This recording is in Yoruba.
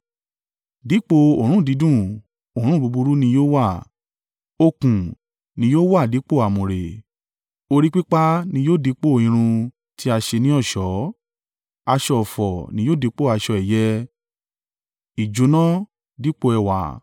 Dípò òórùn dídùn, òórùn búburú ni yóò wá, okùn ni yóò wà dípò àmùrè, orí pípá ni yóò dípò irun ti a ṣe ní ọ̀ṣọ́ aṣọ ọ̀fọ̀ ni yóò dípò aṣọ ẹ̀yẹ ìjóná dípò ẹwà.